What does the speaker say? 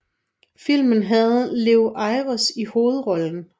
Filmen havde Lew Ayres i hovedrollen